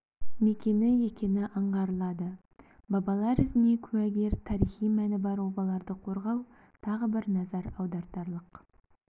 мекені екені аңғарылады бабалар ізіне куәгер тарихи мәні бар обаларды қорғау тағы бір назар аудартарлық